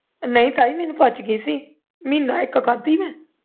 ਨਹੀਂ ਤਾਈ ਮੈਨੂੰ ਪਚ ਗਈ ਸੀ ਮਹੀਨਾ ਇੱਕ ਖਾਧੀ ਮੈਂ